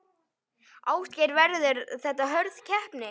Ásgeir: Verður þetta hörð keppni?